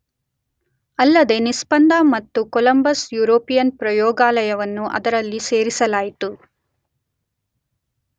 ಅಲ್ಲದೇ ನಿಸ್ಪಂದ ಮತ್ತು ಕೊಲಂಬಸ್ ಯುರೋಪಿಯನ್ ಪ್ರಯೋಗಾಲಯವನ್ನೂ ಅದರೊಂದಿಗೆ ಸೇರಿಸಲಾಯಿತು.